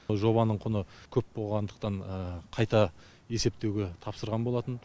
жобаның құны көп болғандықтан қайта есептеуге тапсырған болатын